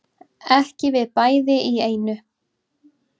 Ekki við bæði í einu